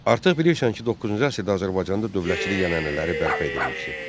Artıq bilirsən ki, 9-cu əsrdə Azərbaycanda dövlətçilik ənənələri bərpa edilmişdi.